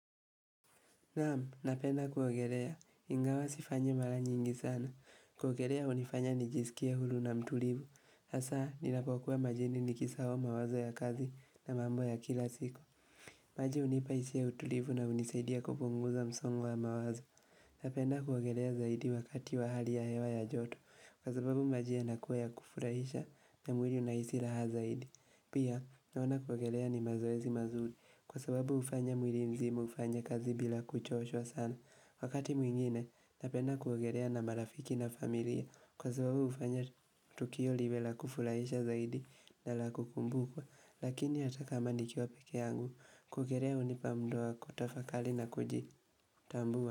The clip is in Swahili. Naam, napenda kuogerea, ingawa sifanyi mara nyingi sana, kuogerea unifanya nijisikie hulu na mtulivu, hasa ninapokuwa majini nikisahao mawazo ya kazi na mambo ya kila siku maji unipa isia ya utulivu na unisaidia kupunguza msongo wa mawazo, napenda kuogerea zaidi wakati wa hali ya hewa ya joto, kwa sababu maji yanakua ya kufurahisha na mwili unahisi laha zaidi Pia, naona kuogerea ni mazoezi mazuri, kwa sababu ufanya mwili mzima ufany kazi bila kuchoshwa sana. Wakati mwingine, napenda kuogerea na marafiki na familia, kwa sababu ufanya tukio liwe la kufulaisha zaidi na la kukumbuka, lakini hata kama nikiwa peke yangu, kuogerea unipa mda wa kutafakali na kujitambua.